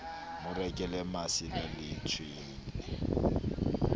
mo rekele masela le tshwele